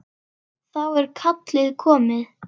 Þá er kallið komið.